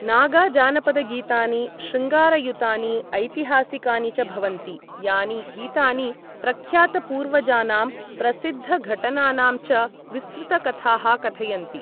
नागाजानपदगीतानि शृङ्गारयुतानि ऐतिहासिकानि च भवन्ति, यानि गीतानि प्रख्यातपूर्वजानां प्रसिद्धघटनानां च विस्तृतकथाः कथयन्ति।